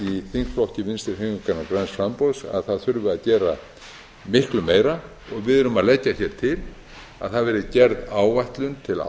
þingflokki vinstri hreyfingarinnar græns framboðs að það þurfi að gera miklu meira og við erum að leggja hér til að það verði gerð áætlun til